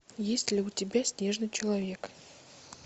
есть ли у тебя снежный человек